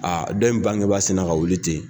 Aa dɔ in bangebaa sinna ka wuli ten